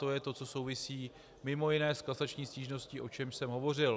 To je to, co souvisí mimo jiné s kasační stížností, o čemž jsem hovořil.